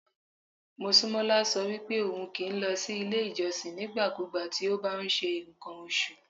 Mosúnmọ́lá sọ wípé ohun kì í lọ sí ilé ìjọsìn nígbàkúùgbà tí ó bá ń ṣe ǹkan oṣù.